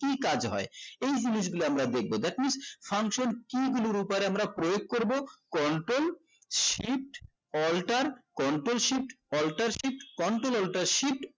কি কাজ হয় এই জিনিস গুলো আমরা দেখবো that's mean function key গুলোর উপরে আমরা প্রয়োগ করবো control shift alter control shift alter control shift alter shift control alter shift control alter shift